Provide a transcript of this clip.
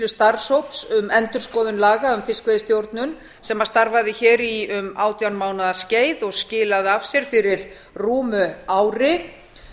starfshóps um endurskoðun laga um fiskveiðistjórnun sem starfaði hér í um átján mánaða skeið og skilaði af sér fyrir rúmu ári